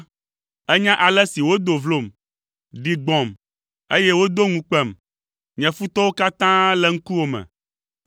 Ènya ale si wodo vlom, ɖi gbɔ̃m, eye wodo ŋu kpem; nye futɔwo katã le ŋkuwò me.